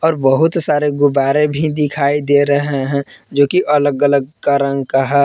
और बहुत सारे गुब्बारे भी दिखाई दे रहे हैं जो की अलग अलग का रंग का है।